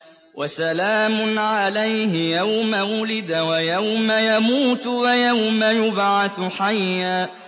وَسَلَامٌ عَلَيْهِ يَوْمَ وُلِدَ وَيَوْمَ يَمُوتُ وَيَوْمَ يُبْعَثُ حَيًّا